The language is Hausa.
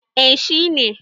eh shi ne